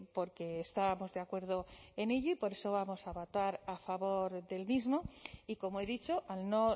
porque estábamos de acuerdo en ello y por eso vamos a votar a favor del mismo y como he dicho al no